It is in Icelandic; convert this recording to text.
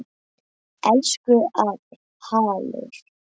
Elsku afi Hallur.